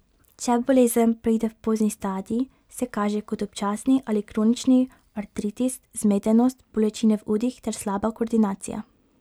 Če bolezen preide v pozni stadij, se kaže kot občasni ali kronični artritis, zmedenost, bolečine v udih ter slaba koordinacija.